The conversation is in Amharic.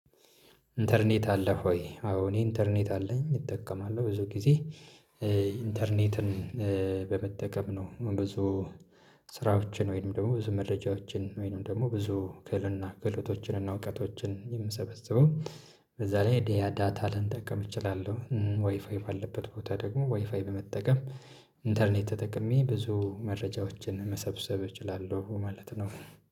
ኢንተርኔት አለ ሆይ? አዎ እኔ ኢንተርኔት አለኝ እጠቀማለሁ ብዙ ጊዜ ኢንተርኔትን በመጠቀም ነው ብዙ ስራዎችን ወይንም ደግሞ ብዙ መረጃዎችን ወይንም ደግሞ ብዙ ክህልና ክህልቶችንና እውቀቶችን የምሰበስበው እዛ ላይ ዳታን ልጠቀም እችላለሁ ወይ ፋይቭ አለበት ቦታ ደግሞ ዋይፋይ በመጠቀም ኢንተርኔት ተጠቅሜ ብዙ መረጃዎችን መሰብሰብ እችላለሁ ማለት ነው።